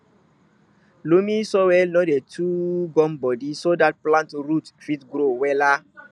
loamy soil no dey too gumbodi so dat plant root fit grow wella